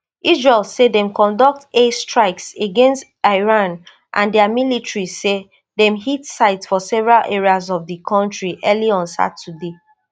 israel say dem conduct air strikes against iran and dia military say dem hit sites for several areas of di kontri early on saturday